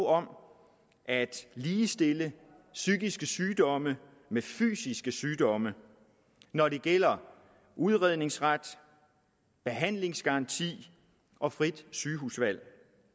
om at ligestille psykiske sygdomme med fysiske sygdomme når det gælder udredningsret behandlingsgaranti og frit sygehusvalg